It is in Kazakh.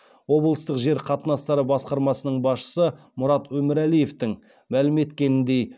облыстық жер қатынастары басқармасының басшысы мұрат өмірәлиевтің мәлім еткеніндей